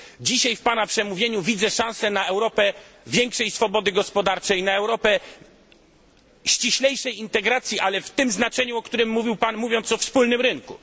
Dzisiaj, w pana przemówieniu, widzę szansę na Europę większej swobody gospodarczej, na Europę ściślejszej integracji, w tym znaczeniu mówiąc o wspólnym rynku.